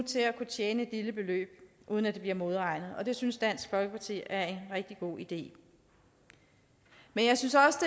kunne tjene et lille beløb uden at det bliver modregnet og det synes dansk folkeparti er en rigtig god idé men jeg synes også